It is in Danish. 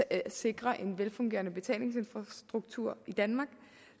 at sikre en velfungerende betalingsinfrastruktur i danmark